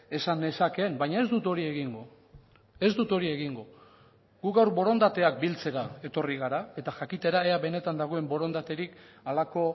esan nezakeen baina ez dut hori egingo ez dut hori egingo gu gaur borondateak biltzera etorri gara eta jakitera ea benetan dagoen borondaterik halako